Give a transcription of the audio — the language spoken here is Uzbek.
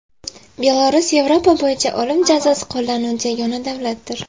Belarus Yevropa bo‘yicha o‘lim jazosi qo‘llanuvchi yagona davlatdir.